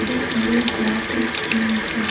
இது ஒரு water theme park .